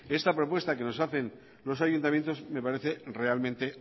esta propuesta que nos hacen los ayuntamientos me parece realmente